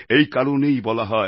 এই কারণেই বলা হয়